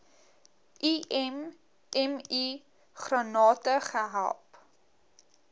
immi grante gehelp